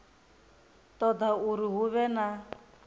ṱoḓa uri hu vhe na